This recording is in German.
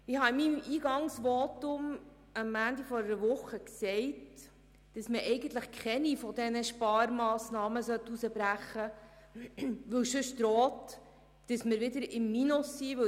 Ich habe in meinem Eingangsvotum am Montag vor einer Woche gesagt, eigentlich sollte man keine dieser Sparmassnahmen herausbrechen, da sonst das Risiko besteht, dass wir uns wieder im Minus befinden.